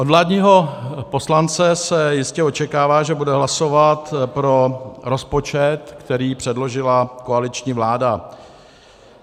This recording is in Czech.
Od vládního poslance se jistě očekává, že bude hlasovat pro rozpočet, který předložila koaliční vláda.